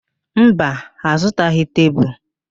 Mba, ha azụtaghị tebulu.